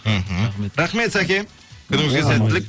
мхм рахмет рахмет сәке күніңізге сәттілік